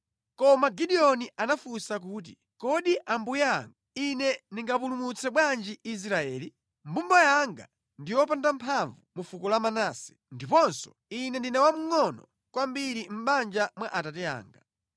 Koma Gideoni anafunsa kuti, “Kodi Ambuye anga ine ndingapulumutse bwanji Israeli? Mbumba yanga ndi yopanda mphamvu mu fuko la Manase, ndiponso ine ndine wamngʼono kwambiri mʼbanja mwa abambo anga.”